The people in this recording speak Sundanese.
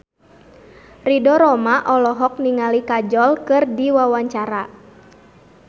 Ridho Roma olohok ningali Kajol keur diwawancara